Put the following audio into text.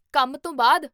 ਕੰਮ ਤੋਂ ਬਾਅਦ?